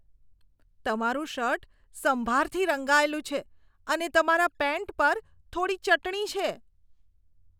તમારૂ શર્ટ સંભારથી રંગાયેલું છે અને તમારા પેન્ટ પર થોડી ચટણી છે.